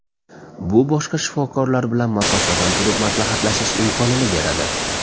Bu boshqa shifokorlar bilan masofadan turib maslahatlashish imkonini beradi.